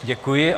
Děkuji.